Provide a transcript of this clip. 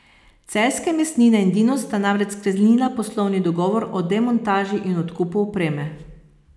Celjske mesnine in Dinos sta namreč sklenila poslovni dogovor o demontaži in odkupu opreme.